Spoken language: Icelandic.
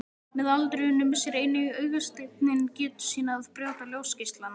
Með aldrinum missir einnig augasteinninn getu sína að brjóta ljósgeislana.